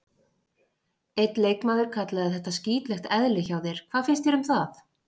Einn leikmaður kallaði þetta skítlegt eðli hjá þér, hvað finnst þér um það?